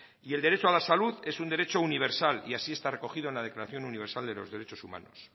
y el derecho a la salud es un derecho universal y así está recogido en la declaración universal de los derechos humanos